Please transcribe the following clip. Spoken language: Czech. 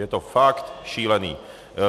Je to fakt šílený.